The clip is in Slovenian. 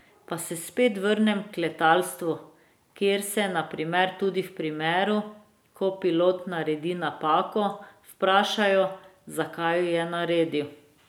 Pa se spet vrnem k letalstvu, kjer se, na primer, tudi v primeru, ko pilot naredi napako, vprašajo, zakaj jo je naredil.